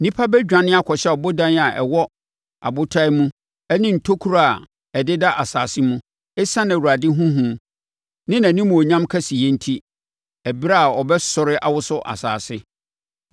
Nnipa bɛdwane akɔhyɛ abodan a ɛwɔ abotan mu ne ntokuro a ɛdeda asase mu ɛsiane Awurade ho hu ne nʼanimuonyam kɛseyɛ enti, ɛberɛ a ɔbɛsɔre awoso asase.